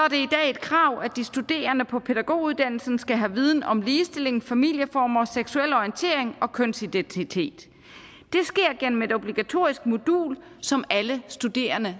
et krav at de studerende på pædagoguddannelsen skal have viden om ligestilling familieformer og seksuel orientering og kønsidentitet det sker gennem et obligatorisk modul som alle studerende